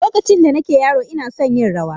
Lokacin da nake yaro ina son yin rawa.